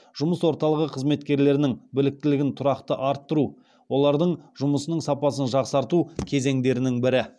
жұмыс орталығы қызметкерлерінің біліктілігін тұрақты арттыру олардың жұмысының сапасын жақсарту кезеңдерінің бірі